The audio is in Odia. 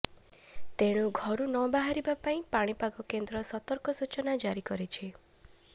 ତେଣୁ ଘରୁ ନବାହାରିବା ପାଇଁ ପାଣିପାଗ କେନ୍ଦ୍ର ସତର୍କ ସୂଚନା ଜାରି କରିଛି